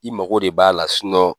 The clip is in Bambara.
I mago de b'a la